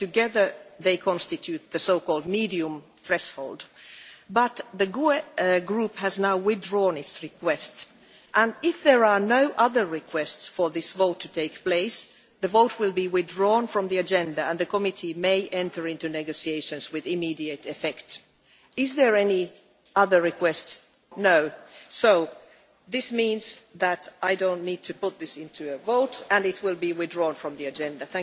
Together, they constitute the so called medium threshold, but the GUE NGL Group has now withdrawn its request, and if there are no other requests for this vote to take place, the vote will be withdrawn from the agenda and the committee may enter into negotiations with immediate effect. Are there any other requests? No. So this means that I don't need to put this to a vote and it will be withdrawn from the agenda.